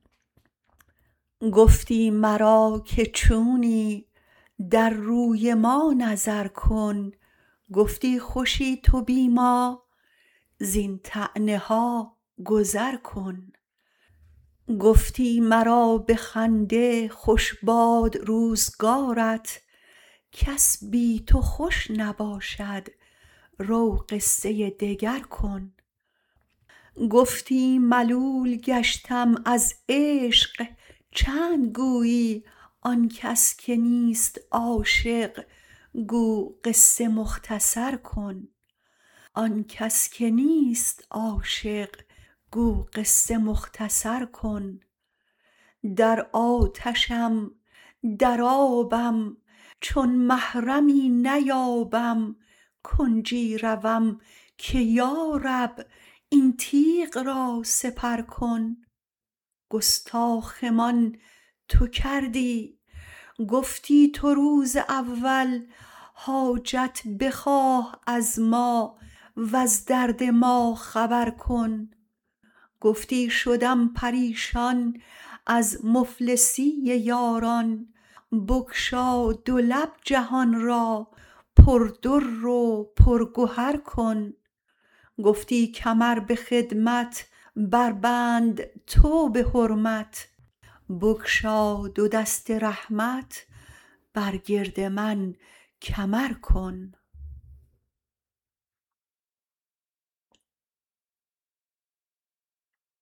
گفتی مرا که چونی در روی ما نظر کن گفتی خوشی تو بی ما زین طعنه ها گذر کن گفتی مرا به خنده خوش باد روزگارت کس بی تو خوش نباشد رو قصه دگر کن گفتی ملول گشتم از عشق چند گویی آن کس که نیست عاشق گو قصه مختصر کن در آتشم در آبم چون محرمی نیابم کنجی روم که یا رب این تیغ را سپر کن گستاخمان تو کردی گفتی تو روز اول حاجت بخواه از ما وز درد ما خبر کن گفتی شدم پریشان از مفلسی یاران بگشا دو لب جهان را پردر و پرگهر کن گفتی کمر به خدمت بربند تو به حرمت بگشا دو دست رحمت بر گرد من کمر کن